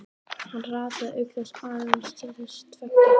Hann rataði auk þess aðeins til þessara tveggja húsa.